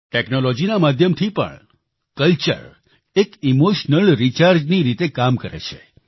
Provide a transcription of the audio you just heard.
ટેક્નોલોજીના માધ્યમથી પણ કલ્ચર એક ઈમોશનલ રિચાર્જની રીતે કામ કરે છે